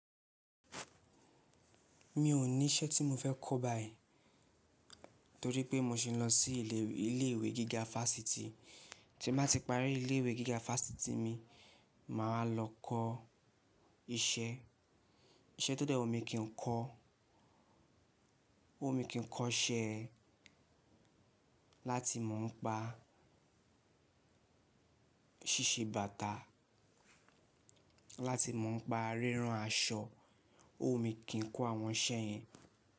Mi ò ní iṣẹ́ tí mo fẹ́ kọ́ báyìí torí pé mo sì ń lọ sí ilé ìwé gíga fásitì. Tí n bá ti parí ilé ìwé gíga fáasitì mi, màá wa lọ kọ iṣẹ́. Iṣẹ́ tó dẹ́ wu mi kí ń kọ́, òwu mi kì í kọ́ iṣẹ́ láti mò ń pa ṣíṣe bàtà, láti mò ń pa rírán aṣọ, o wumi kì í kọ́ àwọn iṣẹ́ yẹn.